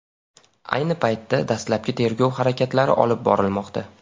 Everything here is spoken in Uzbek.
Ayni paytda dastlabki tergov harakatlari olib borilmoqda.